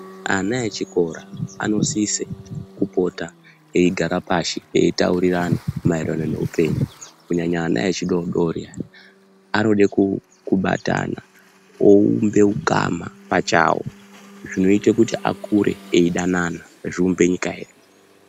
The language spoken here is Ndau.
Ana echikora anosise kupota eyigara pashi ,eyitaurirana maerano neupenyu, kunyanya ana echidodori, anode kubatana, uwumbe ugama pachawo, zvinoyita kuti akure eyidanana zviumbe nyika yedu.